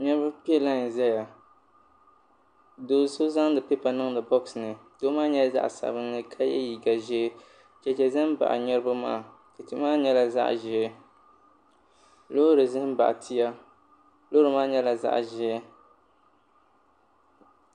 Niriba piɛ laayi zaya doo so zaŋdi pipa niŋdi bɔks ni doo maa nyɛla zaɣa sabinli ka yɛ liiga ʒee cheche za n baɣa niriba maa cheche maa nyɛla zaɣa ʒee loori za n baɣa tia loori maa nyɛla zaɣa ʒee.